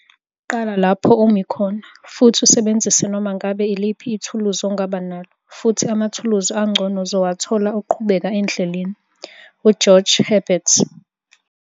Qala lapho umi khona, futhi usebenzise noma ngabe iliphi ithuluzi ongaba nalo, futhi amathuluzi angcono uzowathola uqhubeka endleleni. - u-George Herbert